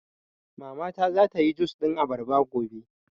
Mama ta za ta yi jus ɗin abarba gobe